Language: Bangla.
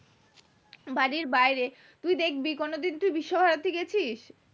বাড়ির বাইরে তুই দেখবি কোনোদিন তুই বিশ্বভারতী গেছিস